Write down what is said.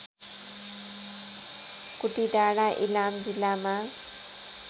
कुटिडाँडा इलाम जिल्लामा